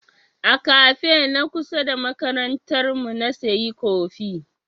A kafe na kusa da makarantar mu na sayi kofi.